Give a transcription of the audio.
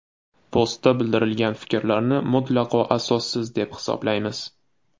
Postda bildirilgan fikrlarni mutlaqo asossiz, deb hisoblaymiz.